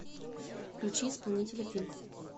включи исполнителя финт